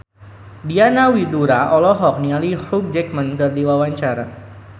Diana Widoera olohok ningali Hugh Jackman keur diwawancara